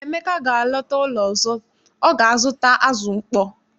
Mgbe Emeka ga-alọta ụlọ ọzọ, ọ ga-azụta azụ mkpọ.